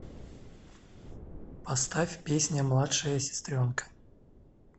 поставь песня младшая сестренка